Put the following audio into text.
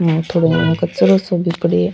यहाँ थोड़ाे घणो कचरो साे भी पड़ियो है।